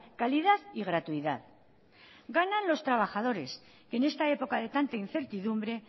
calidad y gratuidad ganan los trabajadores que en esta época de tanta incertidumbre